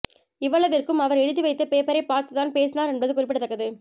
இவ்வளவிற்கும் அவர் எழுதி வைத்த பேப்பரை பார்த்து தான் பேசினார் என்பது குறிப்பிடத்தக்கது